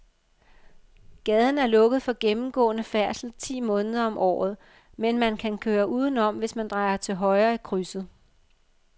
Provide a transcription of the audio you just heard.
Gaden er lukket for gennemgående færdsel ti måneder om året, men man kan køre udenom, hvis man drejer til højre i krydset.